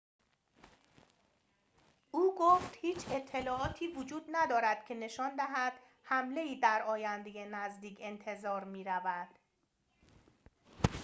او گفت هیچ اطلاعاتی وجود ندارد که نشان دهد حمله‌ای در آینده نزدیک انتظار می‌رود